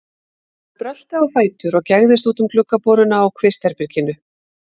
Hann brölti á fætur og gægðist út um gluggaboruna á kvistherberginu.